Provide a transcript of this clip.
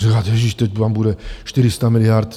Říkáte: Ježíš, teď tam bude 400 miliard.